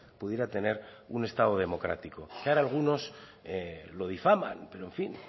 pudiera tener un estado democrático que ahora algunos lo difaman pero en fin